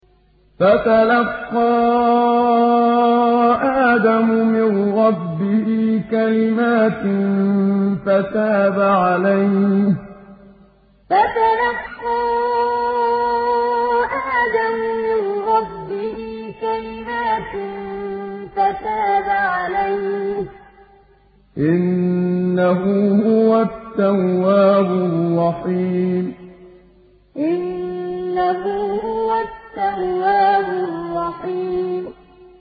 فَتَلَقَّىٰ آدَمُ مِن رَّبِّهِ كَلِمَاتٍ فَتَابَ عَلَيْهِ ۚ إِنَّهُ هُوَ التَّوَّابُ الرَّحِيمُ فَتَلَقَّىٰ آدَمُ مِن رَّبِّهِ كَلِمَاتٍ فَتَابَ عَلَيْهِ ۚ إِنَّهُ هُوَ التَّوَّابُ الرَّحِيمُ